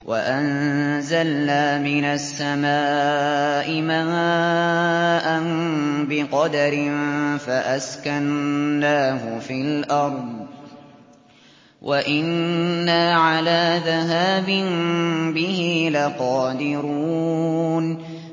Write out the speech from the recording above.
وَأَنزَلْنَا مِنَ السَّمَاءِ مَاءً بِقَدَرٍ فَأَسْكَنَّاهُ فِي الْأَرْضِ ۖ وَإِنَّا عَلَىٰ ذَهَابٍ بِهِ لَقَادِرُونَ